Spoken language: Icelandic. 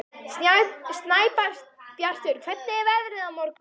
Snæbjartur, hvernig er veðrið á morgun?